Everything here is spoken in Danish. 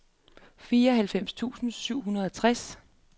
fireoghalvfems tusind syv hundrede og tres